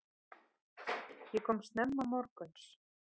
Ég kom snemma morguns.